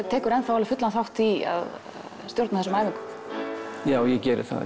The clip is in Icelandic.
tekur enn fullan þátt í að stjórna þessum æfingum já ég geri það